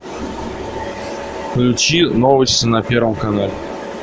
включи новости на первом канале